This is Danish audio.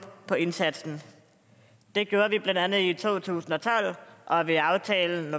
på indsatsen det gjorde vi blandt andet i to tusind og tolv og ved aftalen